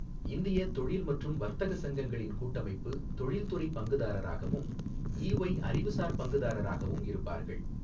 இந்திய தொழில் மற்றும் வர்த்தக சங்கங்களின் கூட்டமைப்பு தொழில்துறை பங்குதாரராகவும், ஈஒய் அறிவுசார் பங்குதாரராகவும் இருப்பார்கள்.